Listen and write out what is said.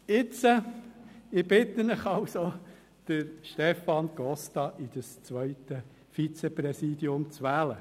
Jetzt bitte ich Sie also, Stefan Costa in das zweite Vizepräsidium zu wählen.